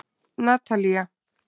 Natalía